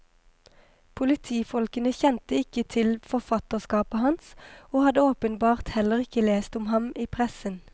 Politifolkene kjente ikke til forfatterskapet hans, og hadde åpenbart heller ikke lest om ham i pressen.